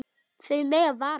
Þau mega vara sig.